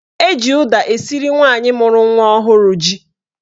Eji ụda esiri nwaanyị mụrụ nwa ọhụrụ ji.